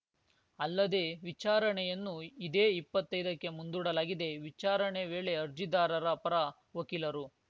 ಅಲ್ಲದೆ ವಿಚಾರಣೆಯನ್ನು ಇದೇ ಇಪ್ಪತ್ತೈದಕ್ಕೆ ಮುಂದೂಡಲಾಗಿದೆ ವಿಚಾರಣೆ ವೇಳೆ ಅರ್ಜಿದಾರರ ಪರ ವಕೀಲರು